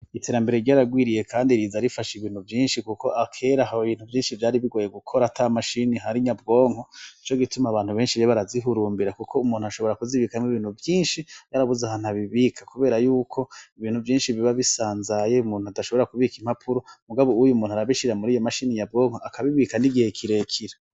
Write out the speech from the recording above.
Iterambere ryaragwiriye kandi riza rifasha ibintu vyinshi kuko kera hari ibintu vyinshi vyari bigoye gukora ata mashini ihari nyabwonko nico gituma abantu benshi rero barazihurumbira kuko umuntu ashobora kuzibikamwo ibintu vyinshi yarabuze ahantu abibika kubera yuko ibintu vyinshi biba bisanzaye, umuntu adashobora kubika impapuro, mugabo ubu umuntu arabishira muri iyo mashini nyabwonko akabibika n'igihe kirekire.